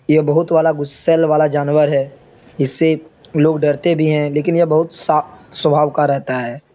यह बोहोत वाला गुस्सेल वाला जानवर है। इससे लोग डरते भी हैं लेकिन यह बोहोत शा स्वभाव का रहता है।